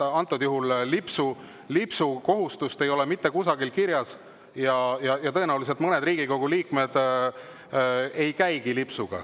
Lipsukohustust ei ole mitte kusagil kirjas ja tõenäoliselt mõned Riigikogu liikmed ei käigi lipsuga.